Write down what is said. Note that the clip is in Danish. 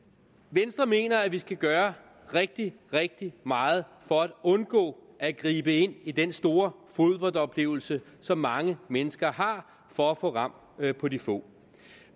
venstre mener at vi skal gøre rigtig rigtig meget for at undgå at gribe ind i den store fodboldoplevelse som mange mennesker har for at få ram på de få